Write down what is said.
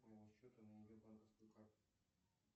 с моего счета на ее банковскую карту